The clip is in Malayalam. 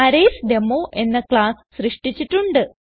അറയ്സ്ഡെമോ എന്ന ക്ലാസ്സ് സൃഷ്ടിച്ചിട്ടുണ്ട്